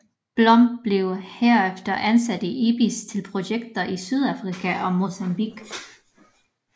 Blom blev herefter ansat i IBIS til projekter i Sydafrika og Mozambique